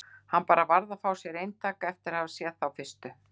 Hann bara varð að fá sér eintak eftir að hafa séð fyrstu